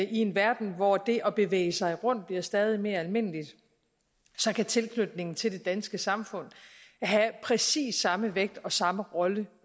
en verden hvor det at bevæge sig rundt bliver stadig mere almindeligt kan tilknytning til det danske samfund have præcis samme vægt og samme rolle